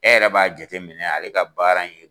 E yɛrɛ b'a jateminɛ ale ka baara in ye